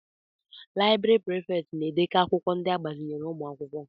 Laịbrị Prịfèkt na-edekọ akwụkwọ ndị agbazinyere ụmụ akwụkwọ.